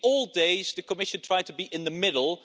In the old days, the Commission tried to be in the middle